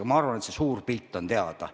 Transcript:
Aga ma arvan, et n-ö suur pilt on teada.